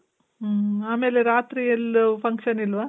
ಮ್ಮ್. ಆಮೇಲೆ ರಾತ್ರಿ ಎಲ್ಲೂ function ಇಲ್ವಾ?